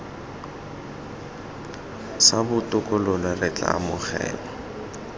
sa botokololo re tla amogela